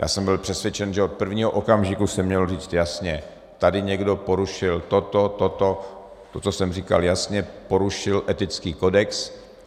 Já jsem byl přesvědčen, že od prvního okamžiku se mělo říct jasně: tady někdo porušil toto, toto, to, co jsem říkal jasně, porušil etický kodex.